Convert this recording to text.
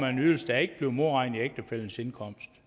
en ydelse der ikke bliver modregnet i ægtefællens indkomst